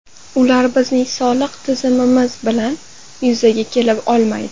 Ular bizning soliq tizimimiz bilan yuzaga kela olmaydi.